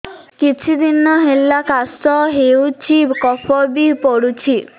କିଛି ଦିନହେଲା କାଶ ହେଉଛି କଫ ବି ପଡୁଛି